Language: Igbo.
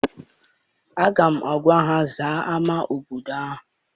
Aga m agwa ha zaa ama obodo ahụ!